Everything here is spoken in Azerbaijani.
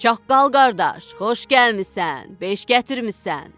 Çaqqal qardaş, xoş gəlmisən, beş gətirmisən.